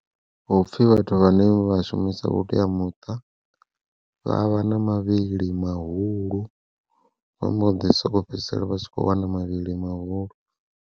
Hupfhi vhathu vhane vha shumisa vhuteamuṱa, vha vha na mavhili mahulu vha mbo ḓi soko fhedzisela vha tshi kho wana mavhili mahulu.